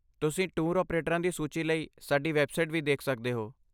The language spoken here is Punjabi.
ਤੁਸੀਂ ਟੂਰ ਆਪਰੇਟਰਾਂ ਦੀ ਸੂਚੀ ਲਈ ਸਾਡੀ ਵੈੱਬਸਾਈਟ ਵੀ ਦੇਖ ਸਕਦੇ ਹੋ।